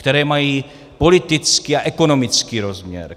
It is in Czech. Které mají politický a ekonomický rozměr.